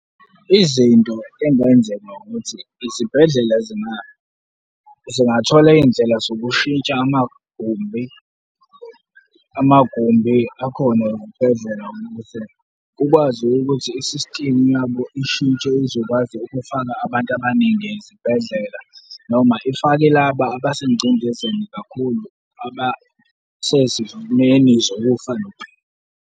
Izinto ezingenzeka ukuthi izibhedlela zemali zingathola izindlela zokushintsha amagumbi, amagumbi akhona ezibhedlela ukuze kukwazi ukuthi i-system yabo ishintshe, izokwazi ukufaka abantu abaningi ezibhedlela noma ifake laba abasengcindezini kakhulu, abasezimeni zokufa nokuphila.